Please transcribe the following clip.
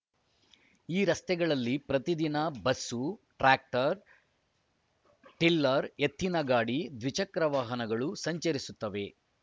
ಈ ರಸ್ತೆಗಳಲ್ಲಿ ಪ್ರತಿದಿನ ಬಸ್ಸು ಟ್ರ್ಯಾಕ್ಟರ್‌ ಟಿಲ್ಲರ್‌ ಎತ್ತಿನ ಗಾಡಿ ದ್ವಿಚಕ್ರ ವಾಹನಗಳು ಸಂಚರಿಸುತ್ತವೆ